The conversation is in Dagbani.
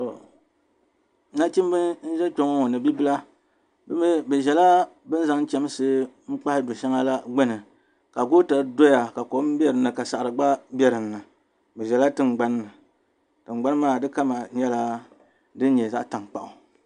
tɔ, nachimba n-ʒe kpe ŋɔ ŋɔ ni bi' bala bɛ mi bɛ ʒila bɛ zaŋ chamsi n-kpahi du' shɛŋa la gbuni ka goota doya ka kom be din ni ka saɣiri gba be din ni bɛ ʒela tiŋgbani ni tiŋgbani maa di kama nyɛla din nyɛ zaɣ' tankpaɣu.